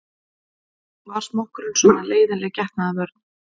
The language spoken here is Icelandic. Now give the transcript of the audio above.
Var smokkurinn svona leiðinleg getnaðarvörn?